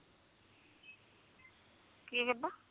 ਕੀ ਕਹਿੰਦਾ